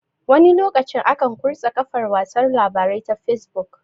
Wani lokacin akan kurse kafar watsa labarai ta fesbuk